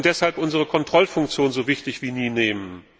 Wir sollten deshalb unsere Kontrollfunktion so wichtig wie nie nehmen.